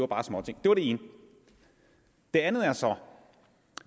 bare er småting det var det ene det andet er så